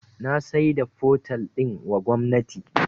Na saida fotel din wa gwamnati